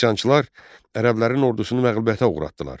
Üsyançılar ərəblərin ordusunu məğlubiyyətə uğratdılar.